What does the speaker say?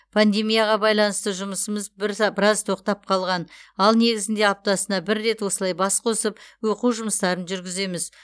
пандемияға байланысты жұмысымыз біраз бірза тоқтап қалған ал негізінде аптасына бір рет осылай бас қосып оқу жұмыстарын жүргіземіз